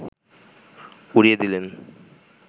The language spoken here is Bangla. উড়িয়ে দিলেন